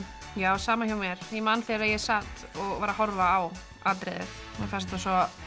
sama hjá mér ég man þegar ég sat og var að horfa á atriðið mér fannst þetta svo